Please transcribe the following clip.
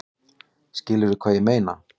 Skilurðu hvað ég meina?